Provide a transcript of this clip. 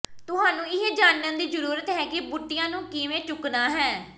ਤੁਹਾਨੂੰ ਇਹ ਜਾਣਨ ਦੀ ਜ਼ਰੂਰਤ ਹੈ ਕਿ ਬੂਟੀਆਂ ਨੂੰ ਕਿਵੇਂ ਚੁੱਕਣਾ ਹੈ